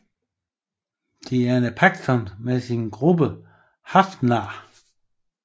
Diana Paxson med sin gruppe Hrafnar